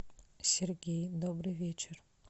сергей добрый вечер